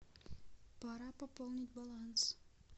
пора пополнить баланс